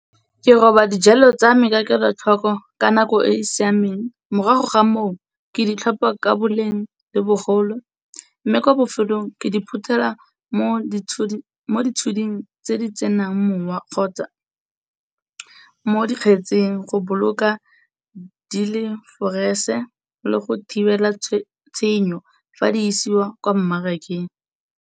Ke roba dijalo tsa me ka kelotlhoko ka nako e e siameng, morago ga moo ke di tlhopa ka boleng le bogolo mme, ko bofelong ke di phutela mo ditshuding tse di tsenang mowa kgotsa mo dikgetsing go boloka di le fresh-e le go thibela tshenyo fa di isiwa kwa mmarakeng.